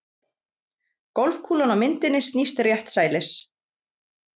Golfkúlan á myndinni snýst réttsælis.